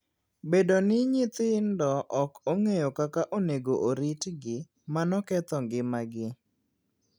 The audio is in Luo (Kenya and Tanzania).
Bedo ni nyithindo ok ong'eyo kaka onego oritgi, mano ketho ngimagi.